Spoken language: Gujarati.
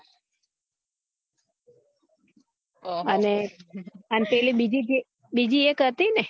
અને પેલી બિજે જે બિજે એક હતી ને